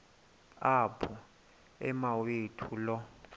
apho umawethu lo